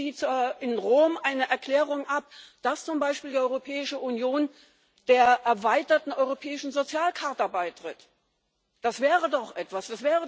Geben Sie in Rom eine Erklärung ab, dass zum Beispiel die Europäische Union der erweiterten Europäischen Sozialcharta beitritt. Das wäre doch etwas.